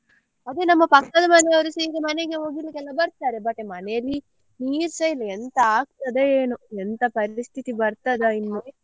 ಅದೇ ನಮ್ಮ ಪಕ್ಕದ ಮನೆಯವರುಸ ಈಗ ಮನೆಗೆ ಒಗಿಲಿಕ್ಕೆಯೆಲ್ಲಾ ಬರ್ತಾರೆ but ಮನೆಯಲ್ಲಿ ನೀರ್ ಸ ಇಲ್ಲ ಎಂತ ಆಗ್ತದೋ ಏನೋ ಎಂತ ಪರಿಸ್ಥಿತಿ ಬರ್ತದ ಇನ್ನು.